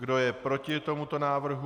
Kdo je proti tomuto návrhu?